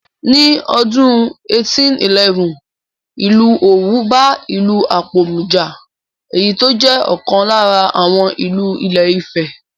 Ní ọdún 1811, Ìlú Òwù bá ìlú Apòmù jà, èyí tó jẹ́ ọ̀kan lára àwọn ìlú ilé ifẹ̀